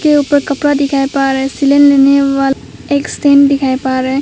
के ऊपर कपड़ा दिखाई पड़ रहा है सीलन लखीवाल एक स्टैंड दिखाई परे--